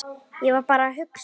Ég var bara að hugsa.